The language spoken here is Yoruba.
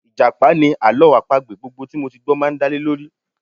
Ìjàpá ni àlọ́ àpagbè gbogbo tí mo ti gbọ́ rí máa ń dálé lórí